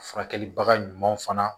Furakɛlibaga ɲuman fana